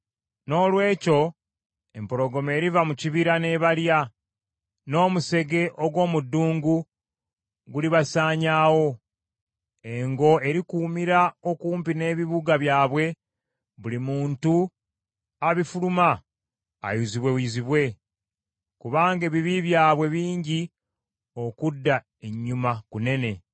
Noolwekyo empologoma eriva mu kibira n’ebalya, n’omusege ogw’omu ddungu gulibasaanyaawo. Engo erikuumira okumpi n’ebibuga byabwe, buli muntu abifuluma ayuzibweyuzibwe; Kubanga ebibi byabwe bingi, okudda ennyuma kunene.